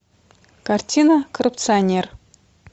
картина коррупционер